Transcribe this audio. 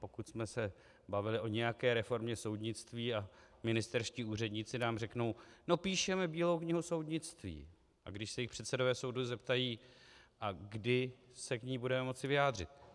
Pokud jsme se bavili o nějaké reformě soudnictví a ministerští úředníci nám řeknou "no píšeme bílou knihu soudnictví", a když se jich předsedové soudů zeptají: "A kdy se k ní budeme moci vyjádřit?" -